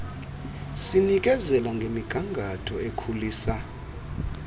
sinikezela ngemigangatho ekhulisa